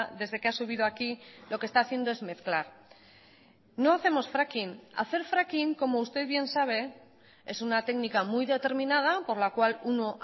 desde que ha subido aquí lo que está haciendo es mezclar no hacemos fracking hacer fracking como usted bien sabe es una técnica muy determinada por la cual uno